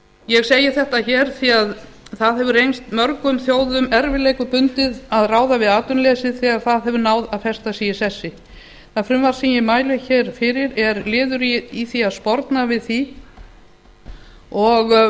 ég segi þetta hér því það hefur reynst mörgum þjóðum erfiðleikum bundið að ráða við atvinnuleysið þegar það hefur náð að festa sig í sessi það frumvarp sem ég mæli hér fyrir er liður í því að sporna við því og